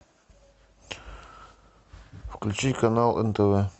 включи канал нтв